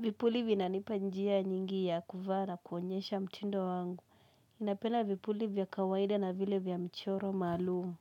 Vipuli vinanipa njia nyingi ya kuvaa na kuonyesha mtindo wangu. Nina penda vipuli vya kawaida na vile viy mchoro maalumu.